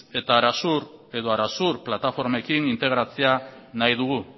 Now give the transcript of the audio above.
eta arasur edo arasur plataformekin integratzea nahi dugu